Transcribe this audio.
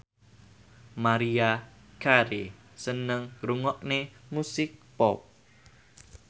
Maria Carey seneng ngrungokne musik pop